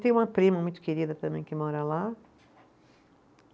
Tem uma prima muito querida também que mora lá.